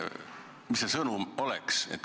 Mis see sõnum oleks?